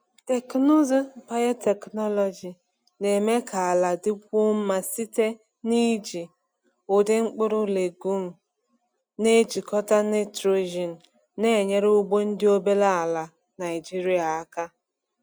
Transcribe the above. Teknụzụ biotechnology na-eme ka ala dịkwuo mma site n’iji ụdị mkpụrụ legume na-ejikọta nitrogen, na-enyere ugbo ndị obere ala Naijiria aka.